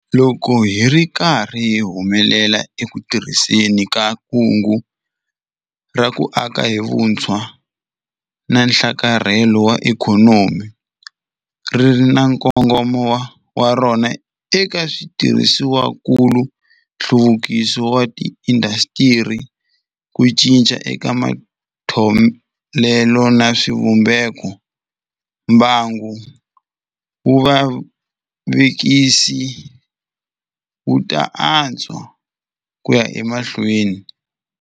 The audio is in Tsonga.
Loko hi ri karhi hi humelela eku tirhiseni ka Kungu ra ku Aka hi Vutshwa na Nhlakarhelo wa Ikhonomi ri ri na nkongomo wa rona eka switirhisiwakulu, nhluvukiso wa tiindasitiri, ku cinca eka matholelo na swivumbekombangu wa vuvekisi wu ta antswa ku ya emahlweni.